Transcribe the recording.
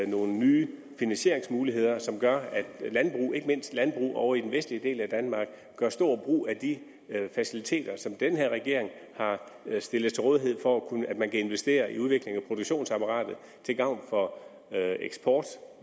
nogle nye finansieringsmuligheder som gør at ikke mindst landbrug ovre i den vestlige del af danmark gør stor brug af de faciliteter som den her regering har stillet til rådighed for at man kan investere i udvikling af produktionsapparatet til gavn for eksport